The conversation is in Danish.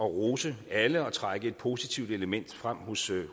rose alle og trække et positivt element frem hos